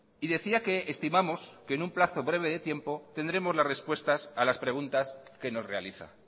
y decía que estimamos que en un plazo breve de tiempo tendremos las respuestas a las preguntas que nos realiza